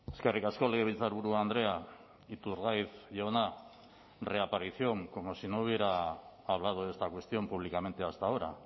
eskerrik asko legebiltzarburu andrea iturgaiz jauna reaparición como si no hubiera hablado de esta cuestión públicamente hasta ahora